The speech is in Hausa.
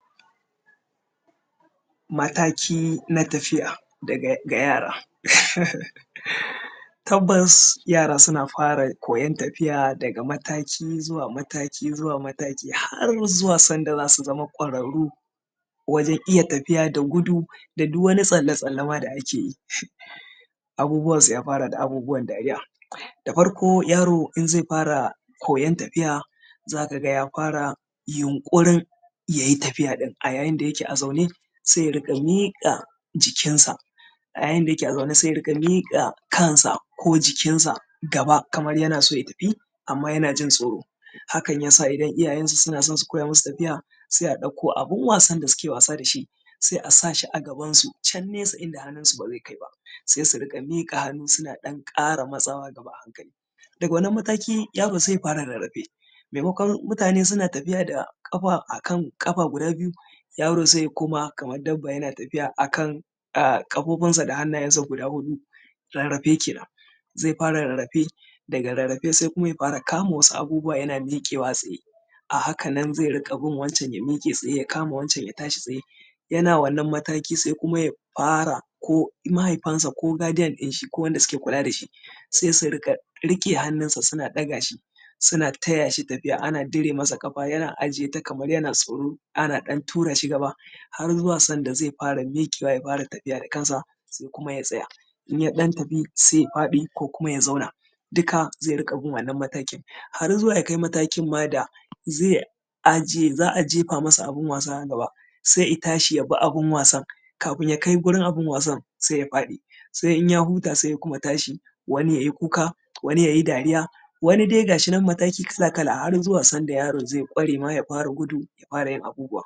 Mataki na tafiya daga yara. Tabbabs yara suna fara koyon tafiya daga mataki zuwa mataki zuwa mataki har zuwa sanda za su zama ƙwararru wajen iya tafiya da gudu da duk wani tsalle tsallen da ake yi. Abubuwansu ya fara da abubuwan dariya. Da farko yaro in zai fara koyon tafiya za ka ga ya fara yunƙurin ya yi tafiya ɗin, a yayin da yake a zaune sai ya riƙa miƙa jikinsa a yayin da yake a zaune sai ya riƙa miƙa kansa ko jikinsa gaba kamar yana so ya tafi amma yana jin tsoro hakan yasa idan iyayensa suna so su koya masu tafiya sai a ɗauko abun wasan da suke wasa da shi, sai a sa shi a gaban su can nesa inda hannunsu ba zai kai ba sai su riƙa miƙa hannu suna ɗan ƙara matsawa gaba. Daga wannan mataki yaro sai ya fara rarrafe maimakon mutane suna tafiya da ƙafa a kan ƙafa guda biyu yaro sai ya koma kamar dabba yana tafiya a kan ƙafofinsa da hannayensa guda huɗu. Rarrafe kenan. Zai fara rarrafe daga rarrafe sai kuma ya fara kama wasu abubuwa yana miƙewa tsaye a hakanan zai ruƙa bin wancan ya miƙe tsaye ya kama wancan ya miƙe tsaye, yana wannan mataki sai kuma ya fara mahaifansa ko kuma guidian din shi ko wanda suke kula da shi, sai su riƙa riƙe hannun shi suna ɗaga shi suna taya shi tafiya ana dire mashi ƙafa yana aje ta kaman yana tsoro ana ɗan tura shi gaba har zuwa sanda zai fara miƙewa ya fara tafiya da kansa sai kuma ya tsaya, in ya ɗan tafi sai ya faɗi ko kuma ya zauna duka za a riƙa bin wannan matakin har zuwa ya kai matakin ma da za a je fa masa abun wasa gaba sai ya tashi ya bi abun wasan kafin ya kai wurin abun wasan sai ya faɗi sai in ya huta sai ya kuma tashi. Wani ya yi kuka wani yayi dariya. Wani dai gashinan mataki kala kala, har zuwa sanda yaro zai ƙware ma ya fara gudu ya fara yin abubuwa.